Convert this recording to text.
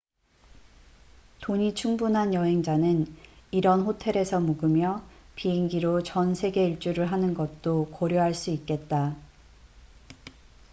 돈이 충분한 여행자는 이런 호텔에서 묵으며 비행기로 전 세계 일주를 하는 것도 고려할 수 있겠다